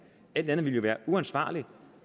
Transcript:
alt andet ville jo være uansvarligt